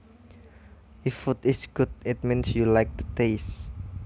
If food is good it means you like the taste